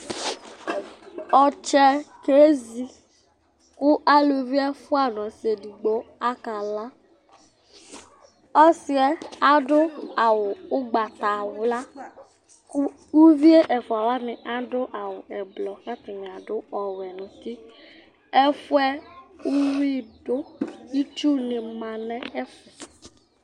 ɔtsɛ kezi ku aluvi ɛfua nu ɔsi edigbo aka la , ɔsiɛ adu awu ugbata wla, ku uvie ɛfʋa wʋani adu awu ɛblɔ ku ata ni adu ɔwɛ nu uti, ɛfuɛ uwi du itsu ni ma nu ɛfuɛ